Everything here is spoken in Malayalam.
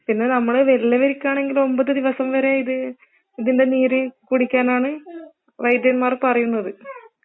പിന്നെ നമ്മള് വല്യവർക്കാണെങ്കിൽ ഒമ്പത് ദിവസം വരേ ഇത് ഇതിൻ്റെ നീര് കുടിക്കാനാണ് വൈദ്യന്മാർ പറയുന്നത്